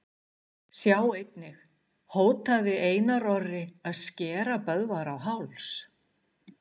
Sjá einnig: Hótaði Einar Orri að skera Böðvar á háls?